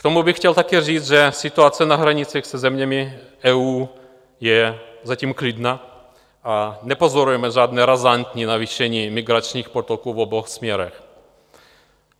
K tomu bych chtěl také říct, že situace na hranicích se zeměmi EU je zatím klidná a nepozorujeme žádné razantní navýšení migračních toků v obou směrech.